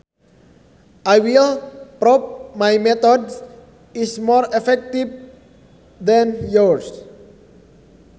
I will prove my method is more effective than yours